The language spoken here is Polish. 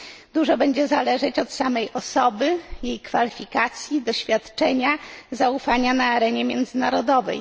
Dużo będzie zależeć od samej osoby, jej kwalifikacji, doświadczenia, zaufania na arenie międzynarodowej.